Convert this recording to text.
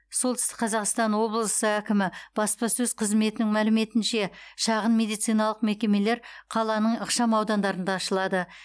солтүстік қазақстан облысы әкімі баспасөз қызметінің мәліметінше шағын медициналық мекемелер қаланың ықшам аудандарында ашылады